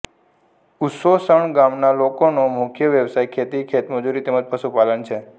ઉચોસણ ગામના લોકોનો મુખ્ય વ્યવસાય ખેતી ખેતમજૂરી તેમ જ પશુપાલન છે